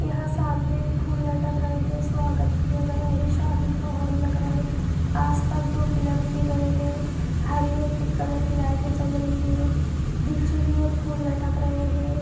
यहा सामने फुल लटक रहे है स्वागत किया गया है सादी का होल लग रहा है आसपास दो पीलर दिए गए है हरी और पिक कलर की लाइटे जल रही है दिचे की और फुल लटक रहे है।